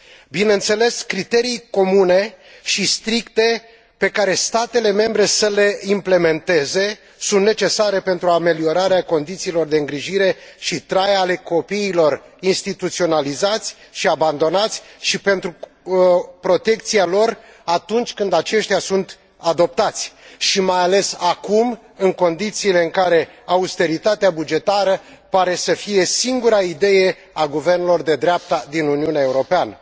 Bineînțeles, criterii comune și stricte, pe care statele membre să le implementeze, sunt necesare pentru ameliorarea condițiilor de îngrijire și trai ale copiilor instituționalizați și abandonați și pentru protecția lor atunci când aceștia sunt adoptați și, mai ales, acum, în condițiile în care austeritatea bugetară pare să fie singura idee a guvernelor de dreapta din Uniunea Europeană.